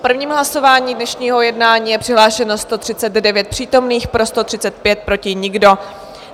V prvním hlasování dnešního jednání je přihlášeno 139 přítomných, pro 135, proti nikdo.